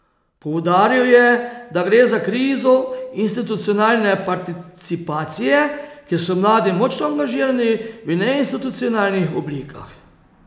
Poudaril je, da gre za krizo institucionalne participacije, ker so mladi močno angažirani v neinstitucionalnih oblikah.